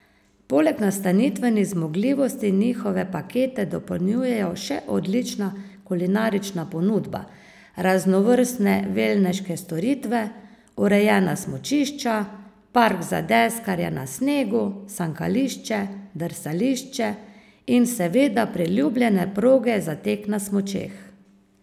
Poleg nastanitvenih zmogljivosti njihove pakete dopolnjujejo še odlična kulinarična ponudba, raznovrstne velneške storitve, urejena smučišča, park za deskarje na snegu, sankališče, drsališče in seveda priljubljene proge za tek na smučeh.